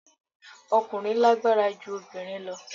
Ọkùnrin lágbára ju obìnrin lọ